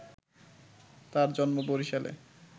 তার জন্ম বরিশালে